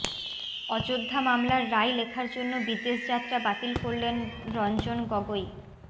অযোধ্যা মামলার রায় লেখার জন্য বিদেশযাত্রা বাতিল করলেন রঞ্জন গগৈ